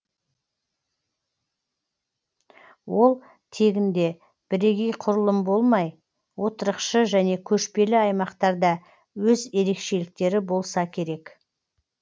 ол тегінде бірегей құрылым болмай отырықшы және көшпелі аймақтарда өз ерекшеліктері болса керек